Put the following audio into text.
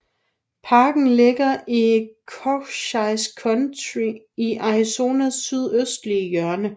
Parken ligger i Cochise County i Arizonas sydøstlige hjørne